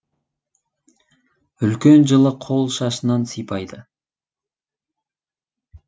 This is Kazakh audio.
үлкен жылы қол шашынан сипайды